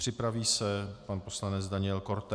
Připraví se pan poslanec Daniel Korte.